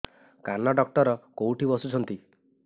କାନ ଡକ୍ଟର କୋଉଠି ବସୁଛନ୍ତି